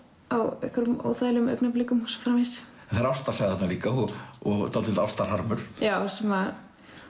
á einhverjum óþægilegum augnablikum og svo framvegis það er ástarsaga þarna líka og dálítill já sem